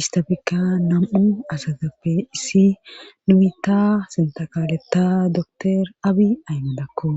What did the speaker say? istafekka nam'u asatappe issi numita sintaqaletta doktor abi aymadakko